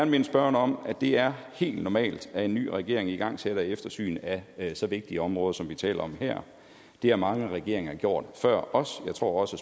minde spørgeren om at det er helt normalt at en ny regering igangsætter eftersyn af så vigtige områder som vi taler om her det har mange regeringer gjort før os og jeg tror også